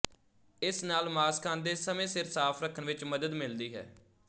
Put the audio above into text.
ਇਸ ਨਾਲ ਮਾਸ ਖਾਂਦੇ ਸਮੇਂ ਸਿਰ ਸਾਫ਼ ਰੱਖਣ ਵਿੱਚ ਮਦਦ ਮਿਲਦੀ ਹੈ